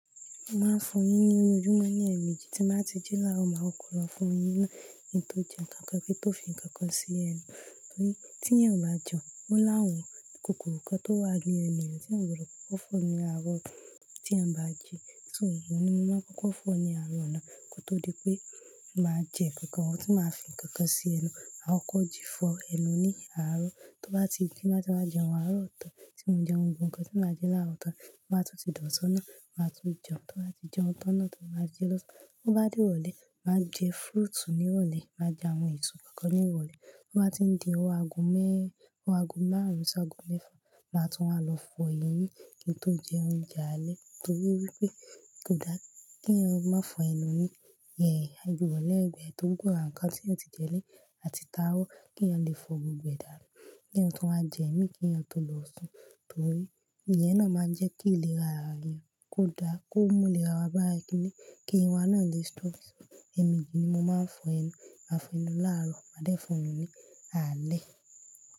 Mo máa ń fọ eyín ní oyé ojúmọ́ ní ẹ̀miji tí màá ti jí láro, màá kó lọ fọ eyín náà kín tó jẹ́ kankan kín tó fi ń kankan sí ẹnu. Torí tí ẹyan ò bá jẹun o lawon, kòkòrò kan tó wà ní ẹnu yẹn tí eyan gbodo kókó fọ́ ní àárọ̀ tí a bá jẹun. So òun ni mo máa kókó fọ́ ní àárọ̀ náà kó tó di pé màá jẹ nkankan tí màá fi ń kankan sí ẹnu. A ó kóji fọ ẹnu ní àárọ̀ tó bá ti jẹun, tí màá jẹun àárọ̀ ọ̀tán, tí mò ń jẹ ohun gbogbo nkankan tí màá jẹ láàárọ̀ ọ̀tán, màá tún ti dọ̀ṣọ́nà, màá tún jẹun tó bá ti jẹun tọ́nà tó bá jẹ lọ́sàn-án. Tó bá dé ìrọ̀lẹ́, màá jẹ fruit ní ìrọ̀lẹ́, màá jẹ àwọn èso kankan ní ìrọ̀lẹ́. Tó bá ti ń di owó ago mẹ́rin, owó ago márùn-ún sí ago mẹ́fà, màá tún wá lọ fọ eyín kim tó jẹ́ oúnjẹ alẹ́ torí wípé kò dára kí ẹyan má fọ ẹnu ní ìhẹ́ ẹyẹ àjò ìrọ̀lẹ́ gba ẹ tó gbó ran nkankan tí ẹ ti jẹ ní atí táro kí ẹyan lè fọ gbogbo e danu Kí ẹyan tún wá jẹ mí, kí ẹyan to lọ̀sun torí ìyẹn náà máa ń jẹ́ kí ìlera ara ẹ yọ, kó dára, kó mú ìlera wa bá ẹ kiní, kí eyin náà lè strong ẹ̀meji ni mo máa ń fọ ẹnu, màá fọ ẹnu láàárọ̀, màá dé fọ ẹnu ní alẹ́.